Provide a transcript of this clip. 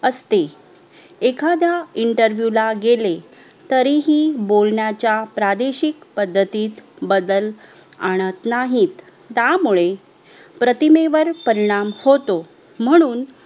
असते येखाद्या INTERVIEW ला गेले तरीही बोलण्याच्या प्रदेशीक पद्धतीत बादल आणत नाहीत त्यामुळे प्रतिमेत परिणाम होतो म्हणून